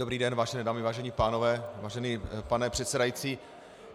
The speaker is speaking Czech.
Dobrý den, vážené dámy, vážení pánové, vážený pane předsedající.